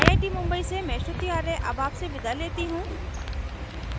I I T Mumbai से मैं श्रुति आर्य अब आपसे विदा लेती हूँ